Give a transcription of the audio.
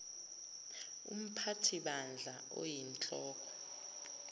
umphathi bandla oyinhloko